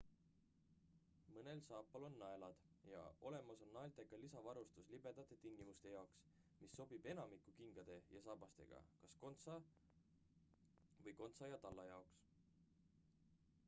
mõnel saapal on naelad ja olemas on naeltega lisavarustus libedate tingimuste jaoks mis sobib enamiku kingade ja saabastega kas kontsa või kontsa ja talla jaoks